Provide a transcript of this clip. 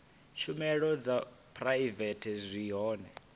tshumelo dza phuraivete zwi hone